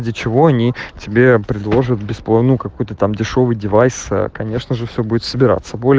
для чего они тебе предложат бесплатную какой-то там дешёвый девайс конечно же все будет собираться